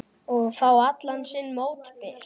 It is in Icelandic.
Og fá allan sinn mótbyr.